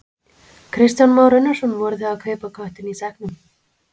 Kristján Már Unnarsson: Voru þið að kaupa köttinn í sekknum?